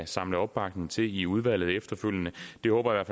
samle opbakning til det i udvalget efterfølgende det håber